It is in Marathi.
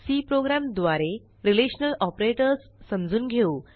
सी प्रोग्राम द्वारे रिलेशनल ऑपरेटर्स समजून घेऊ